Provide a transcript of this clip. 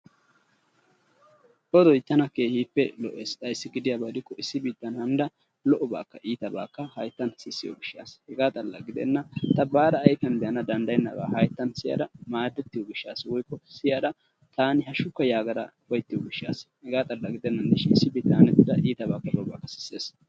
Odoy tana keehippe lo"essi ayssi gidiyaba gidikko issi biittan hanida lo"obakkaa iitabakka hayttan sissiyo gishshatassa hega xalla gidenna baada ayfiyan be'ana danddayennaba hayttan siyada maaddettiyo gishshataassa woykko siyada taan hashshukka yaagada uppayttiyo gishshatassa hega xalla gidennan dishin issi biittan hanetida iitaba lo"obakka sissees.